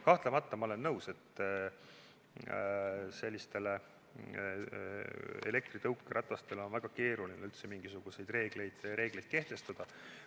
Kahtlemata olen nõus, et elektritõukeratastele on väga keeruline üldse mingisuguseid reegleid kehtestada.